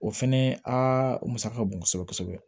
O fɛnɛ a musaka bon kosɛbɛ kosɛbɛ